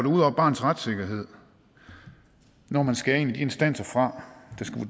over barnets retssikkerhed når man skærer en af de instanser fra